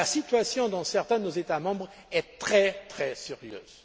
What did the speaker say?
La situation dans certains de nos États membres est très